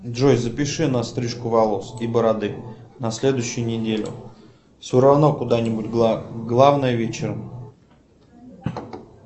джой запиши на стрижку волос и бороды на следующую неделю все равно куда главное вечером